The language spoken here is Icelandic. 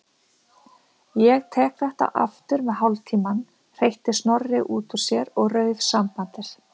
Ég tek þetta aftur með hálftímann- hreytti Snorri út úr sér og rauf sambandið.